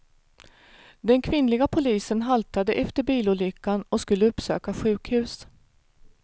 Den kvinnliga polisen haltade efter bilolyckan och skulle uppsöka sjukhus.